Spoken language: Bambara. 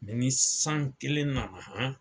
Mɛ ni san kelen nana han!